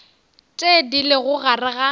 tše di lego gare ga